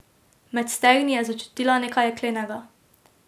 Med stegni je začutila nekaj jeklenega.